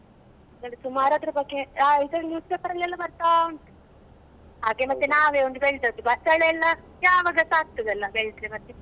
ಸುಮಾರ್ ಅದ್ರ ಬಗ್ಗೆ ಅ ಇದ್ರಲ್ಲಿ news paper ಅಲ್ಲಿ ಎಲ್ಲಾ ಬರ್ತಾ ಉಂಟು ಹಾಗೆ ಮತ್ತೆ ನಾವೇ ಒಂದು ಬೆಳ್ದದ್ದು ಬಸಳೆ ಎಲ್ಲ ಯಾವಾಗಾಸ ಆಗ್ತಾದಲ ಬೆಳ್ದ್ರೆ ಮತ್ತೆ.